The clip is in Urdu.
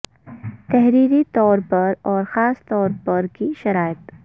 تحریری طور پر اور خاص طور پر کی شرائط